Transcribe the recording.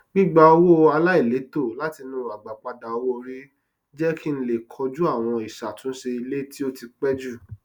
gbigba owó aláìlètò látinú agbápadà owóori jẹ kí n lè koju àwọn ìṣàtúnṣe ilé tí ó ti pé jù